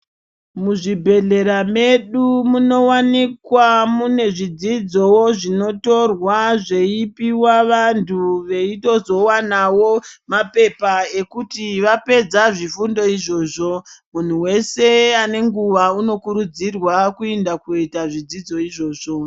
Muzvi bhedhlera medu muno wanikwa mune zvidzidzo zvinotorwa zveyipuwa vantu, veyito zowanawo mapepa ekuti vapedza zvifundo izvozvo, muntu wese ane nguva uno kurudzirwa kuenda kundoyita zvidzidzo izvozvo.